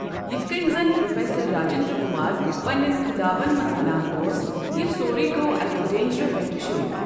یِتھ کٕنۍ زن پرٛوفیسر راجِنٛدر کُمار پنٛنٮ۪ن خطابن منٛز وَنان اوس، یہِ سورُے گوٚو اَکہِ ڈینٛجرِ پٮ۪ٹھٕ شُروٗع۔